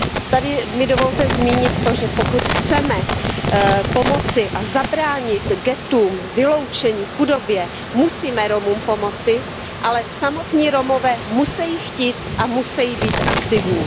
Tady mi dovolte zmínit to, že pokud chceme pomoci a zabránit ghettům, vyloučení, chudobě, musíme Romům pomoci, ale samotní Romové musejí chtít a musejí být aktivní.